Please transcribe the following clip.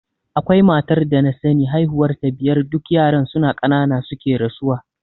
Akwai matar da na sani haihuwar ta biyar duk yaran suna ƙanana suke rasuwa.